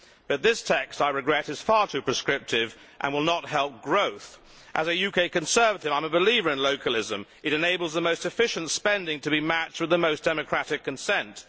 However, this text I regret is far too prescriptive and will not help growth. As a UK Conservative, I am a believer in localism it enables the most efficient spending to be matched with the most democratic consent.